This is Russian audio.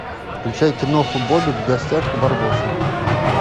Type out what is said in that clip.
включай киноху бобик в гостях у барбоса